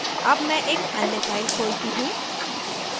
अब मैं एक अन्य file खोलती हूँ